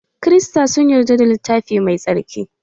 Krista sun yadda da littafi mai tsarki.